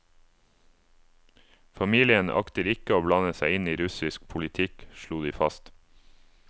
Familien akter ikke å blande seg inn i russisk politikk, slo de fast.